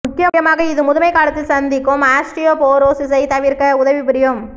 முக்கியமாக இது முதுமைக் காலத்தில் சந்திக்கும் ஆஸ்டியோபோரோசிஸைத் தவிர்க்க உதவி புரியும்